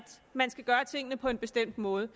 man skal gøre tingene på en bestemt måde